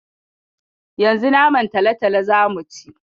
Yanzu naman talatalo za mu ci.